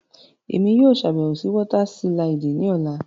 Emi yóò ṣabẹwo si wọta siliidi ni ọla.